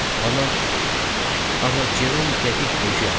Anam amma Cerom dəqiq ögey atam idi.